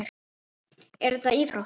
En er þetta íþrótt?